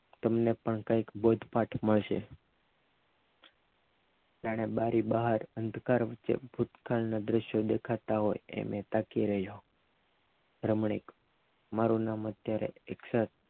તમને પણ બોધપાઠ મળશે જાને બારી અંધકાર વચ્ચે ભૂતકાળના દ્રશ્યો દેખાતા એમ તાકી રહ્યો રમણીક મારું નામ ત્યારે એકસઠ